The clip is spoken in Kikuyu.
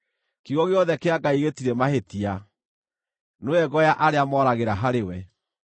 “Kiugo gĩothe kĩa Ngai gĩtirĩ mahĩtia; nĩwe ngo ya arĩa moragĩra harĩ we.